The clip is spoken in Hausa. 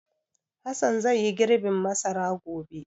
Hassan zai yi girbin masara gobe.